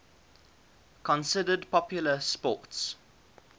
considered popular sports